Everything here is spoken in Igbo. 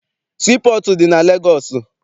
Sii pọọtụ dị na Legọọsị.